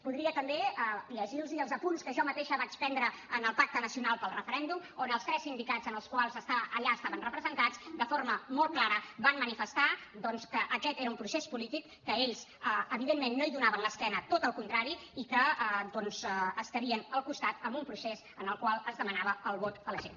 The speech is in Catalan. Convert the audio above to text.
podria també llegir los els apunts que jo mateixa vaig prendre en el pacte nacional pel referèndum on els tres sindicats que allà estaven representats de forma molt clara van manifestar doncs que aquest era un procés polític que ells evidentment no hi donaven l’esquena sinó al contrari i que estarien al costat d’un procés en el qual es demanava el vot a la gent